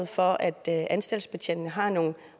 for at anstaltbetjentene har nogle